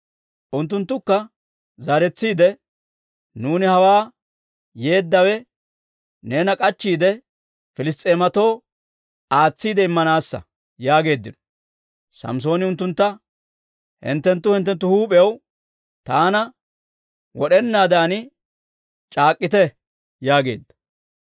Unttunttukka zaaretsiide, «Nuuni hawaa yeeddawe neena k'achchiide, Piliss's'eematoo aatsiide immanaassa» yaageeddino. Samssooni unttuntta, «Hinttenttu hinttenttu huup'iyaw taana wod'enaadan c'aak'k'ite» yaageedda.